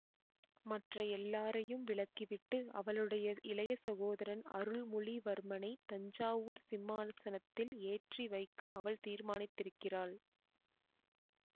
மற்ற எல்லாரையும் விலக்கிவிட்டு அவளுடைய இளைய சகோதரன் அருள்மொழிவர்மனைத் தஞ்சாவூர்ச் சிம்மாசனத்தில் ஏற்றி வைக்க அவள் தீர்மானித்திருக்கிறாள்